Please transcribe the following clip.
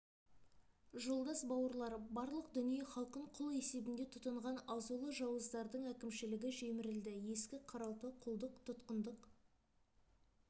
жолдас бауырлар барлық дүние халқын құл есебінде тұтынған азулы жауыздардың әкімшілігі жемірілді ескі қаралты құлдық тұтқындық